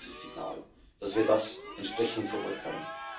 Wo ist dieses Signal, dass wir das entsprechend verurteilen?